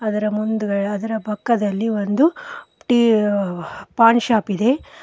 ಅದರ ಮುಂದ್ಗ್ ಅದರ ಪಕ್ಕದಲ್ಲಿ ಒಂದು ಟಿ ವ ಒಂದು ಪಾನ್ ಶಾಪ್ ಇದೆ.